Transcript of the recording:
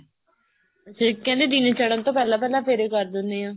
ਕਹਿੰਦੇ ਦਿਨ ਚੜਨ ਤੋਂ ਪਹਿਲਾਂ ਪਹਿਲਾਂ ਫੇਰੇ ਕਰ ਦਿਨੇ ਆ